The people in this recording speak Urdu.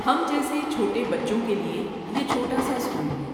ہم جیسے چھوٹے بچّوں کے لیے یہ چھوٹا سا اسکول ہے۔